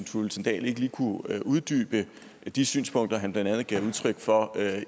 thulesen dahl ikke lige kunne uddybe de synspunkter han blandt andet gav udtryk for